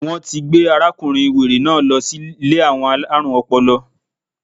Wọ́n ti gbé arákùnrin wèrè náà lọ sí Ilé àwọn alárùn ọpọlọ